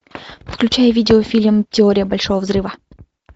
включай видеофильм теория большого взрыва